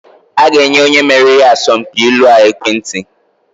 A ga-enye onye meriri asọmpi ilu a ekwentị.